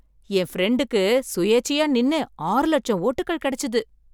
என் பிரண்டுக்கு சுயேச்சையா நின்னு ஆறு லட்சம் ஓட்டுக்கள் கிடைச்சுது.